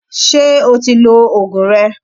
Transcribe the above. Ṣé o ti lo Ògùn rẹ?